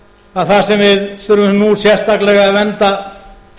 að það sem við þurfum nú sérstaklega að vernda